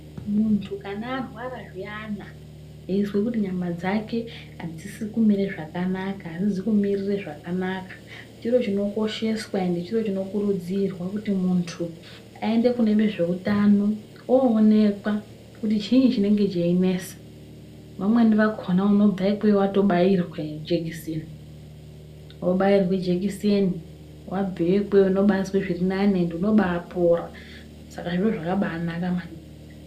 Muntu kana arwara zviyana eizwa kuti nyama dzake adzizi kumira zvakanaka, adzizi kumumirira zvakanaka. Chiri chinokosheswa ende chiro chinokurudzirwa kuti muntu aende kune vezveutano oonekwa. Kuti chii chinenge cheinesa. Vamweni vakhona unobva ikweyo watobairwa jekiseni. Wobairwa jekiseni wabveyo ikweyo unobaazwa zviri nani. Ende unobaapora. Saka zviro zvakabaanaka maningi.